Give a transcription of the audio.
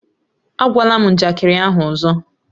Ágwala m njakịrị ahụ ọzọ!